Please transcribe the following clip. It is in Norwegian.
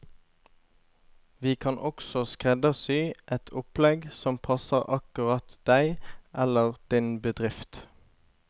Vi kan også skreddersy et opplegg som passer akkurat deg eller din bedrift.